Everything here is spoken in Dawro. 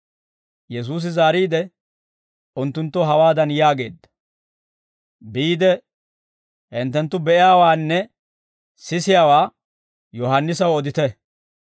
Yesuusi zaariide, unttunttoo hawaadan yaageedda; «Biide hinttenttu be'iyaawaanne sisiyaawaa Yohaannisaw odite;